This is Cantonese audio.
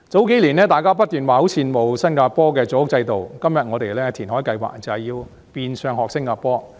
數年前，大家不斷說很羨慕新加坡的組屋制度，今天我們的填海計劃，就是學新加坡。